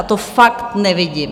A to fakt nevidím.